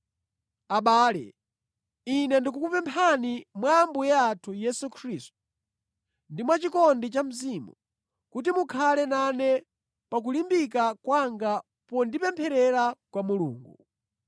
Abale, ine ndikukupemphani, mwa Ambuye athu Yesu Khristu ndi mwachikondi cha Mzimu, kuti mukhale nane pa kulimbika kwanga pondipempherera kwa Mulungu.